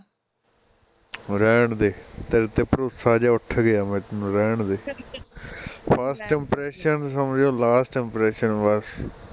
ਰਹਿਣਦੇ ਤੇਰੇ ਤੇ ਭਰੋਸਾ ਜਿਹਾ ਉਠ ਗਿਆ ਮੈਨੂੰ ਰਹਿਣਦੇ first impression ਸਮਝੋ last impression ਬਸ